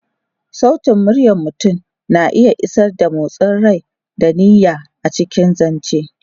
Sautin muryar mutum na iya isar da motsin rai da niyya a cikin zance.